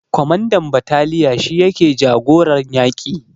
Kwamandan bataliya shi yake jagoran yaƙi